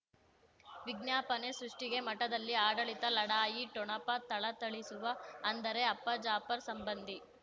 ವಿಜ್ಞಾಪನೆ ಸೃಷ್ಟಿಗೆ ಮಠದಲ್ಲಿ ಆಡಳಿತ ಲಢಾಯಿ ಠೊಣಪ ಥಳಥಳಿಸುವ ಅಂದರೆ ಅಪ್ಪ ಜಾಫರ್ ಸಂಬಂಧಿ